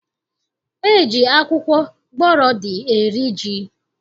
E ji akwụkwọ gbọrọdị eri ji